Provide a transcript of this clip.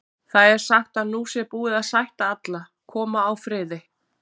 Það er sagt að nú sé búið að sætta alla, koma á friði.